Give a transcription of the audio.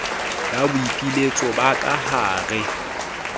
ya boipiletso ba ka hare